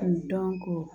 dɔnko